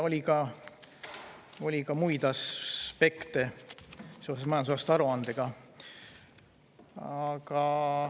Oli ka muid aspekte seoses majandusaasta aruandega.